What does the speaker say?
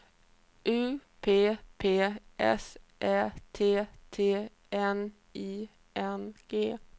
U P P S Ä T T N I N G